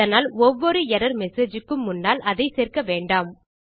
இதனால் ஒவ்வொரு error message க்கும் முன்னால் அதை சேர்க்க வேண்டாம்